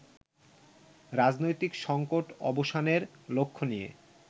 রাজনৈতিক সঙ্কট অবসানের লক্ষ্য নিয়ে